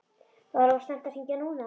Var of snemmt að hringja núna?